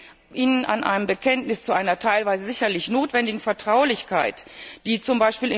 Es fehlt Ihnen an einem Bekenntnis zu einer teilweise sicherlich notwendigen Vertraulichkeit, die